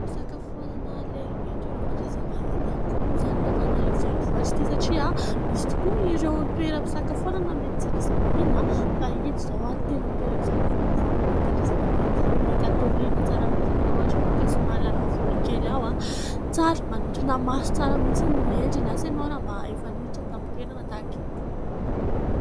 Fisakafoanana lehibe, toeram-pandraisam-bahiny ihany koa moa izany eto Antananarivo Renivohitra ity ; satria misy tokoa ireo toeram-pisakafoanana, mety tsy andraisam-bahiny fa ito mihintsy izao tena toera-pisakafonana sady mety andraisam-bahiny izany hoe mety hatoriana tsara mihintsy, raha ohatra ianao ka somary hiala voly kely ao. Tsara, manintona maso tsara mihintsy ny hendriny asa ianao raha mba efa niditra tamin'ny toerana tahaka itony?